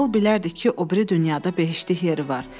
Mağıl bilərdik ki, o biri dünyada behiştlik yeri var.